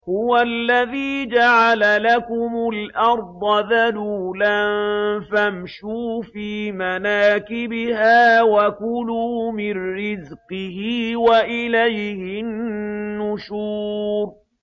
هُوَ الَّذِي جَعَلَ لَكُمُ الْأَرْضَ ذَلُولًا فَامْشُوا فِي مَنَاكِبِهَا وَكُلُوا مِن رِّزْقِهِ ۖ وَإِلَيْهِ النُّشُورُ